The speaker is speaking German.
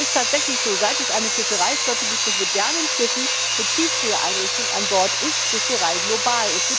Es ist tatsächlich so Seit es eine Fischereiflotte gibt mit modernen Schiffen, mit Tiefgefriereinrichtungen an Bord, ist Fischerei global.